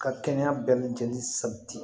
Ka kɛnɛya bɛɛ lajɛlen sabati